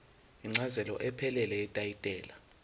incazelo ephelele yetayitela